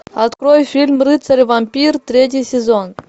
открой фильм рыцарь вампир третий сезон